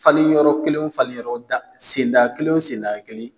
Falen yɔrɔ kelen falen yɔrɔ tan sen da o kelen sen da o kelen.